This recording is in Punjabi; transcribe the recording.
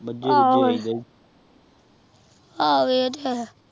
ਆਹ ਵੇ ਤਾ ਆਹ